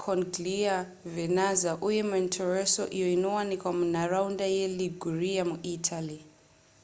corniglia vernazza uye monterosso iyo inowanikwa munharaunda yeliguria muitaly